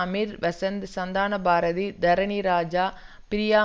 Amir Vasanth Santhanabharathi Dharani Raja Priya